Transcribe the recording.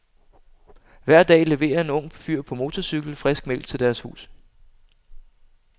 Hver dag leverer en ung fyr på motorcykel frisk mælk til deres hus.